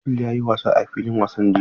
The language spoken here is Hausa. Abdul ya yi wasa a filin wasan jiya.